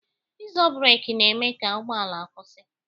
Ịzo breki na-eme ka ụgbọala kwụsị